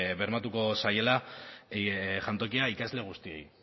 bermatuko zaiela jantokia ikasle guztiei